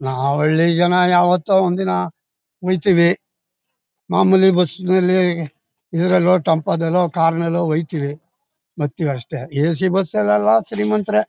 ನಾವು ಹಳ್ಳಿ ಜನ ಯಾವತ್ತೋ ಒಂದಿನ ಹೋಯ್ತಿವಿ ಮಾಮೂಲಿ ಬಸ್ ನಲ್ಲಿ ಇದ್ರಲ್ಲೋ ಟೆಂಪೋ ದಲ್ಲೋ ಕಾರು ನಲ್ಲೋ ಹೋಯ್ತಿವಿ ಬರ್ತೀವಿ ಅಷ್ಟೇ ಏಸಿ ಬಸ್ ಲೆಲ್ಲ ಶ್ರೀಮಂತರೇ.